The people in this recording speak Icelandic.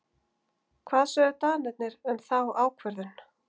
Hvað sögðu Danirnir um þá ákvörðun?